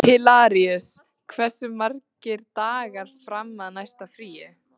Hilaríus, hversu margir dagar fram að næsta fríi?